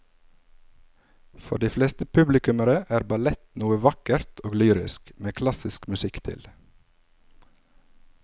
For de fleste publikummere er ballett noe vakkert og lyrisk med klassisk musikk til.